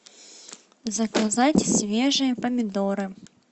заказать свежие помидоры